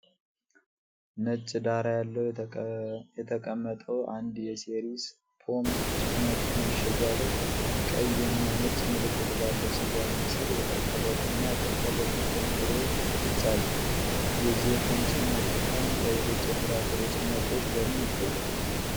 ነጭ ዳራ ላይ የተቀመጠው አንድ የ"ሴሬስ" ፖም ጭማቂ ማሸጊያ ላይ፣ ቀይና ነጭ ምልክት ባለው ስያሜ ስር የተቆረጡና ያልተቆረጡ ፖም ፍሬዎች በግልጽ አሉ፤ የዚህ የፖም ጭማቂ ጣዕም ከሌሎች የፍራፍሬ ጭማቂዎች በምን ይለያል?